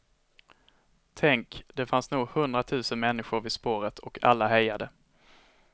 Tänk, det fanns nog hundratusen människor vid spåret och alla hejade.